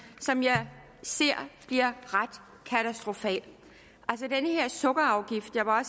som jeg ser bliver ret katastrofal altså den her sukkerafgift jeg var